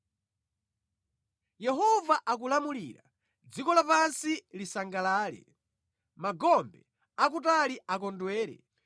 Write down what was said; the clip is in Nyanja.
Yehova akulamulira, dziko lapansi lisangalale; magombe akutali akondwere.